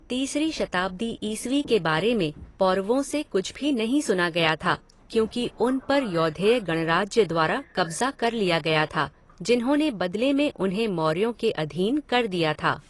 तीसरी शताब्दी ईस्वी के बारे में पौरवों से कुछ भी नहीं सुना गया था क्योंकि उन पर यौधेय गणराज्य द्वारा कब्जा कर लिया गया था, जिन्होंने बदले में उन्हें मौर्यों के अधीन कर दिया था।